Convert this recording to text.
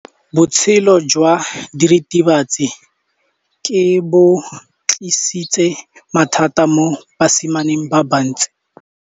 Botshelo jwa diritibatsi ke bo tlisitse mathata mo basimaneng ba bantsi.